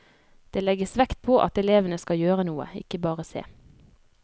Det legges vekt på at elevene skal gjøre noe, ikke bare se.